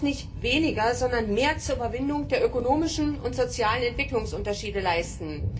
Europa muss nicht weniger, sondern mehr zur Überwindung der ökonomischen und sozialen Entwicklungsunterschiede leisten.